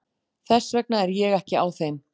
Þess vegna er ég ekki á þeim.